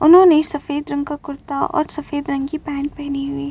उन्होंने सफेद रंग का कुर्ता ओर सफेद रंग की पैंट पेहनी हुई --